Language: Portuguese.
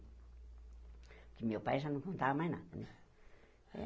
Porque meu pai já não contava mais nada, né?